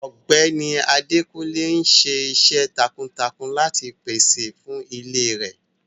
Ọgbẹni Adékúnlé n sìṣẹ̀ tákuntákun láti pèsè fún ilè rẹ.